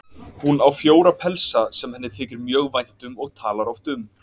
Hún á fjóra pelsa sem henni þykir mjög vænt um og talar oft um.